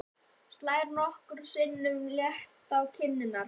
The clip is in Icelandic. Slær nokkrum sinnum létt á kinnarnar.